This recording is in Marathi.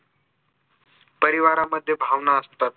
परिवारामध्ये भावना असतात